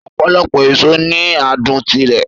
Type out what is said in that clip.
Ọ̀pọ̀lọpọ̀ èso ní adùn tirẹ̀